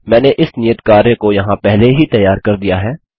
मैंने इस नियत कार्य को यहाँ पहले ही तैयार कर दिया है